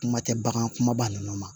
Kuma tɛ bagan kumaba nunnu ma